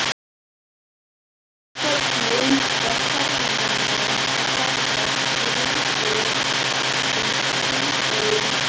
En hvernig líkar ferðamönnum að ferðast í rútu um hringveginn?